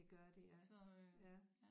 Det gør de ja ja